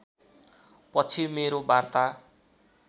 पछि मेरो वार्ता